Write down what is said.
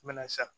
Mɛnɛ sa